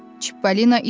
Çippolina itib.